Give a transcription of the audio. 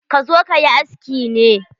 Ka zo kayi aski ne?